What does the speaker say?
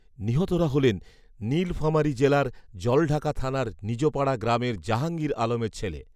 নিহতরা হলেন, নীলফামারী জেলার জলঢাকা থানার নিজপাড়া গ্রামের জাহাঙ্গীর আলমের ছেলে